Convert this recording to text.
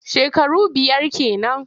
Shekaru biyar ke nan.